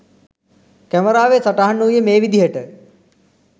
කැමරාවේ සටහන් වූයේ මේ විදිහට.